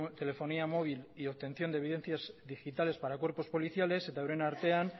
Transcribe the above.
telefonía móvil y obtención de evidencias digitales para cuerpos policiales eta euren artean